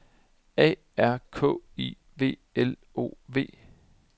A R K I V L O V